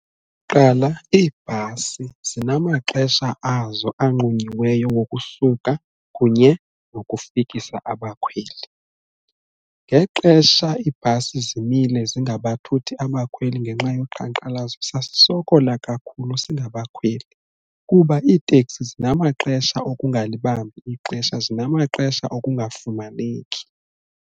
Kuqala iibhasi zinamaxesha azo anqunyiweyo wokusuka kunye nokufikisa abakhweli. Ngexesha iibhasi zimile zingabathuthi abakhweli ngenxa yoqhankqalazo sasisokola kakhulu singabakhweli kuba iiteksi zinamaxesha okungalibambi ixesha zinamaxesha okungafumaneki.